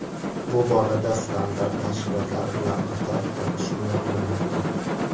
Bu borada standart tashkilotlari bilan qator tortishuvlar bo‘lmoqda.